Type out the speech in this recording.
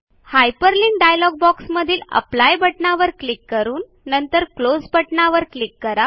hyperlink dialog बॉक्समधील apply बटणावर click करून नंतर क्लोज या बटणावर क्लिक करा